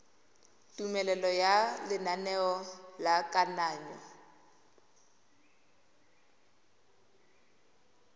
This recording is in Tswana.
tumelelo ya lenaneo la kananyo